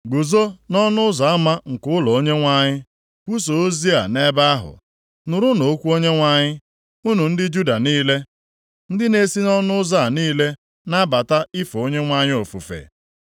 “Guzo nʼọnụ ụzọ ama nke ụlọ Onyenwe anyị kwusaa ozi a nʼebe ahụ, “ ‘Nụrụnụ okwu Onyenwe anyị, unu ndị Juda niile, ndị na-esi nʼọnụ ụzọ a niile na-abata ife Onyenwe anyị ofufe.